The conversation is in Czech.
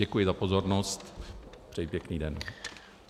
Děkuji za pozornost, přeji pěkný den.